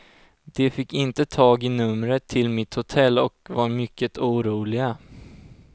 De fick inte tag i numret till mitt hotell och var mycket oroliga.